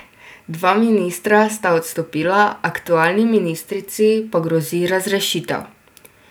Dva ministra sta odstopila, aktualni ministrici pa grozi razrešitev.